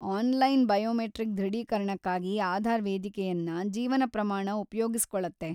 Online biometric ದೃಢೀಕರಣಕ್ಕಾಗಿ ಆಧಾರ್‌ ವೇದಿಕೆಯನ್ನ ಜೀವನ ಪ್ರಮಾಣ ಉಪ್ಯೋಗಿಸ್ಕೊಳ್ಳತ್ತೆ.